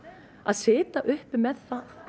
að sitja uppi með það